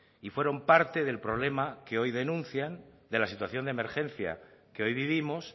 y fueron parte del problema que hoy denuncian de la situación de emergencia que hoy vivimos